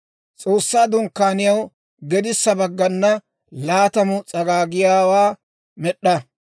S'oossaa Dunkkaaniyaw gedissa baggana laatamu s'agaagiyaawaa med'd'a.